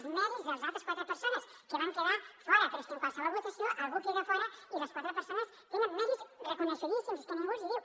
els mèrits de les altres quatre persones que van quedar fora però és que en qualsevol votació algú queda a fora i les quatre persones tenen mèrits reconegudíssims és que ningú els hi diu